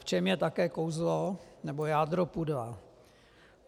V čem je také kouzlo nebo jádro pudla.